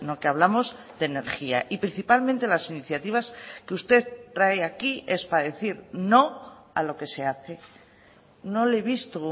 que hablamos de energía y principalmente las iniciativas que usted trae aquí es para decir no a lo que se hace no le he visto